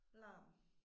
Larm